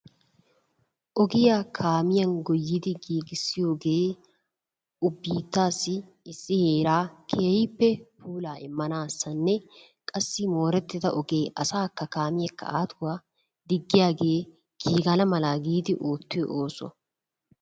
Ogiya kaamiyan goyyidi giigissiyooge biittassi issi heeraa keehippe puulaa immanassanne qassi moorettida ogee asaakka kaamiyakka aatuwa diggiyagee giigana mala giidi oottiyo oosuwaa.